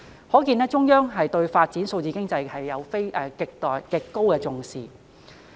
"可見中央對發展數字經濟極度重視。